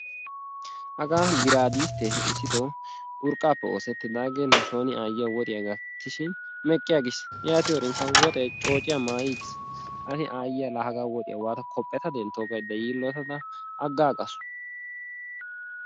Hagaa biraadisttee issitoo urqqaappe oosettidaagee nusooni aayyiya woxiya kattishiini meqqi aggis yaatiyorinkka woxee coociya maayi aggis yaatin aayyiya woxiya la hagaa kophpheta denttoo gaydda yiillotada aggaagaasu.